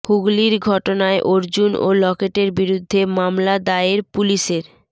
হুগলির ঘটনায় অর্জুন ও লকেটের বিরুদ্ধে মামলা দায়ের পুলিশের